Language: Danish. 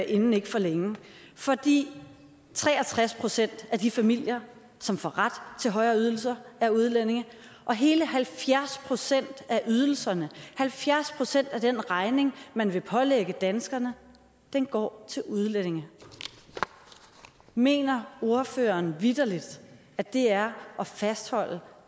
inden for længe fordi tre og tres procent af de familier som får ret til højere ydelser er udlændinge og hele halvfjerds procent af ydelserne halvfjerds procent af den regning man vil pålægge danskerne går til udlændinge mener ordføreren vitterlig at det er at fastholde